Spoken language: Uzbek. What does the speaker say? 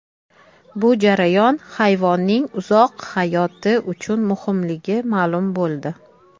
Bu jarayon hayvonning uzoq hayoti uchun muhimligi ma’lum bo‘ldi.